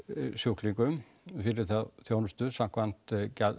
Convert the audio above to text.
sjúklingum fyrir þá þjónustu samkvæmt